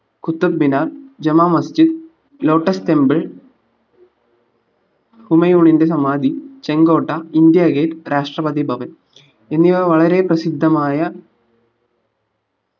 Qutub Minar juma masjid lotus temple ഹുമയൂണിന്റെ സമാധി ചെങ്കോട്ട ഇന്ത്യ gate രാഷ്‌ട്രപതി ഭവൻ എന്നിവ വളരെ പ്രസിദ്ധമായ